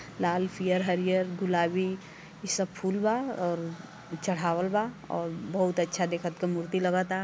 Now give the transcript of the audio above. लाल पियर हरियर गुलाबी इ सब फूल बा और इ चढ़ावल बा और बहुत अच्छा देखत क मूर्ति लगता।